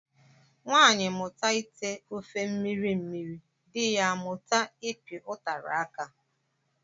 Nwaanyị mụta ite ofe mmiri mmiri, dị ya amụta ịpị ụtara aka